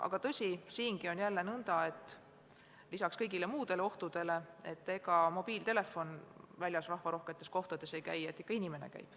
Aga tõsi, siingi on lisaks kõigile muudele ohtudele nõnda, et ega mobiiltelefon väljas rahvarohketes kohtades käi, ikka inimene käib.